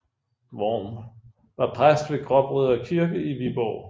Worm var præst ved Gråbrødre Kirke i Viborg